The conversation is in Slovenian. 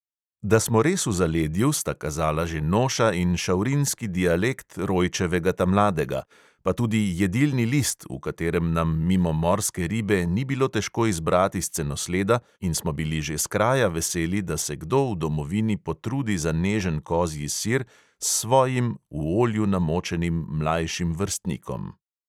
Da smo res v zaledju, sta kazala že noša in šavrinski dialekt rojčevega tamladega, pa tudi jedilni list, v katerem nam mimo morske ribe ni bilo težko izbrati scenosleda, in smo bili že skraja veseli, da se kdo v domovini potrudi za nežen kozji sir s svojim, v olju namočenim mlajšim vrstnikom.